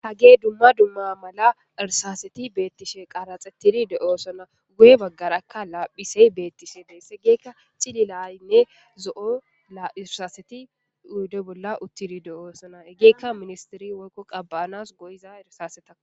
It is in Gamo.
Hage dumma dumma mala irsaaseti beettishe qaraxettidi do7o sona guye baggarakka laaphisey beettishe deessegeekka cililaynne zo7o irsaseti uyudo bolla uttidi do7o sona egeekka ministiri woykko qabbaanas goyiza irsaaseta